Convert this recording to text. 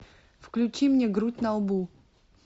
включи мне грудь на лбу